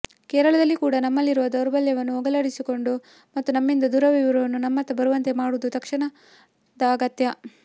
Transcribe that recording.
ಕೇರಳದಲ್ಲಿ ಕೂಡ ನಮ್ಮಲ್ಲಿರುವ ದೌರ್ಬಲ್ಯವನ್ನು ಹೋಗಲಾಡಿಸಿಕೊಂಡು ಮತ್ತು ನಮ್ಮಿಂದ ದೂರವಿರುವವರನ್ನು ನಮ್ಮತ್ತ ಬರುವಂತೆ ಮಾಡುವುದು ತಕ್ಷಣದ ಅಗತ್ಯ